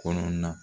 Kɔnɔna na